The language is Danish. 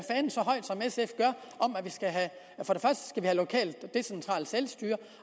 vi skal have lokalt decentralt selvstyre